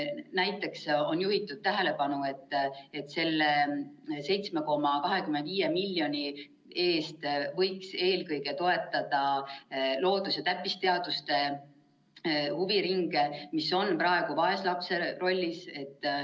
Näiteks on juhitud tähelepanu, et selle 7,25 miljoni eest võiks eelkõige toetada loodus‑ ja täppisteaduste huviringe, mis on praegu vaeslapse rollis.